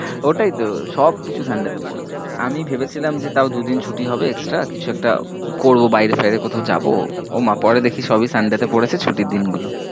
ওটাই তো সব কিছু sunday তে পড়েছে, আমি ভেবেছিলাম যে তাও দু দিন ছুটি হবে extra কিছু একটা করব, বায়েরে টায়েরে কোথাও যাবো, ও মা পরে দেখি সব ই sunday তে পড়েছে ছুটির দিন গুলো।